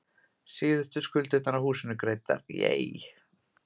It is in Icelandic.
Síðustu skuldirnar af húsinu greiddar.